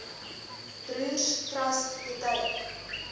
broers trust betuig